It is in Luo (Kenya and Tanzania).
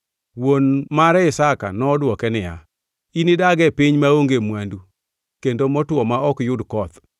Wuon mare Isaka nodwoke niya, “Inidag e piny maonge mwandu, kendo motwo ma ok yud koth.